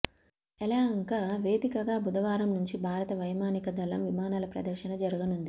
యలహంక వేదికగా బుధవారం నుంచి భారత వైమానిక దళం విమానాల ప్రదర్శన జరగనుంది